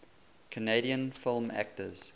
canadian film actors